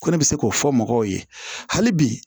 Ko ne bɛ se k'o fɔ mɔgɔw ye hali bi